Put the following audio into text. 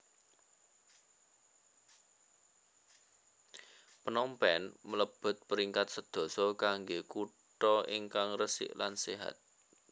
Phnom Penh mlebet peringkat sedoso kangge kuto ingkang resik lan sehat